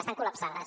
estan col·lapsades